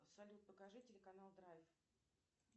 салют покажи телеканал драйв